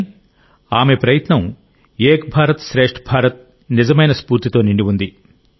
కానీ ఆమె ప్రయత్నం ఏక్ భారత్ శ్రేష్ఠ భారత్ నిజమైన స్ఫూర్తితో నిండి ఉంది